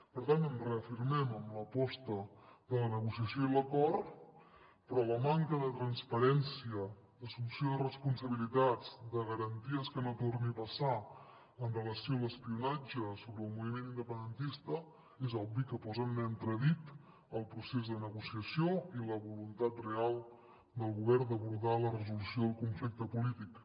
per tant ens reafirmem en l’aposta de la negociació i l’acord però la manca de transparència d’assumpció de responsabilitats de garanties que no torni a passar amb relació a l’espionatge sobre el moviment independentista és obvi que posa en entredit el procés de negociació i la voluntat real del govern d’abordar la resolució del conflicte polític